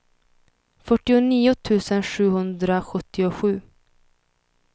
fyrtionio tusen sjuhundrasjuttiosju